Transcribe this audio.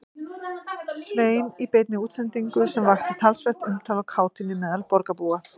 Svein í beinni útsendingu sem vakti talsvert umtal og kátínu meðal borgarbúa.